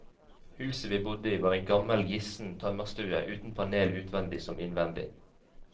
Huset vi bodde i, var en gammel gissen tømmerstue, uten panel utvendig som innvendig.